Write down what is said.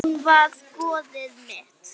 Hún var goðið mitt.